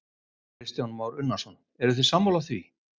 Kristján Már Unnarsson: Eruð þið sammála því?